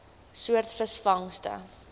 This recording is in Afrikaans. soort visvangste